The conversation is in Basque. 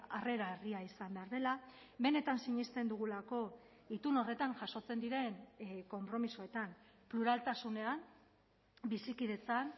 harrera herria izan behar dela benetan sinesten dugulako itun horretan jasotzen diren konpromisoetan pluraltasunean bizikidetzan